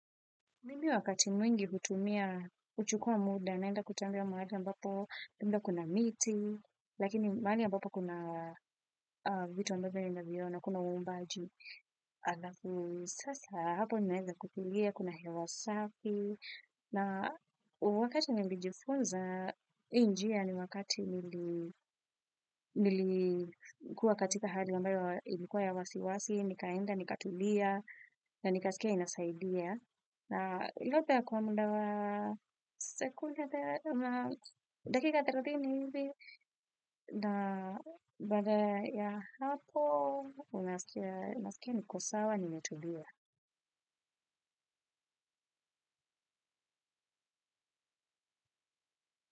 Mimi wakati mwingi hutumia, kuchukua muda, naenda kutembea mahali ambapo, kuna miti, lakini mahali ambapo kuna vitu ambavyo ninaviona kuna uumbaji. Sasa hapo ninaweza kutulia, kuna hewa safi, na wakati nilijifunza, hii njia ni wakati nilikuwa katika hali ambayo ilikuwa ya wasiwasi, nikaenda, nikatulia, na nikasikia inasaidia. Na ili take kwa muda wa sekunde dakika thelathini hivi na baada ya hapo naskia niko sawa nimetulia.